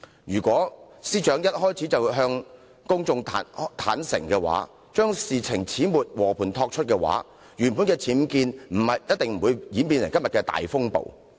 如果司長一開始便向公眾坦白，將事情始末和盤托出，原本的僭建事件一定不會演變成今天的大風暴。